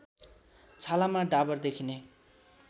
छालामा डाबर देखिने